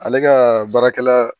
Ale ka baarakɛla